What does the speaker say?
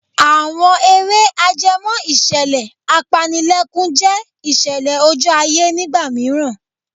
Àwọn eré ajẹmọ́ ìṣẹ̀lẹ̀ apanilẹ́kún jẹ́ ìṣẹ̀lẹ̀ ojú ayé nígbà mìíràn.